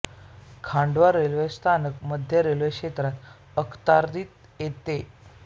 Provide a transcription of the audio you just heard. Khandwa railway स्थानक मध्य railway क्षेत्राच्या अखत्यारीत येते